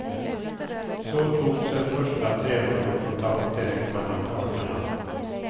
Så togs en första trevande kontakt direkt mellan parterna.